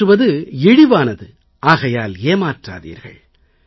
ஏமாற்றுவது இழிவானது ஆகையால் ஏமாற்றாதீர்கள்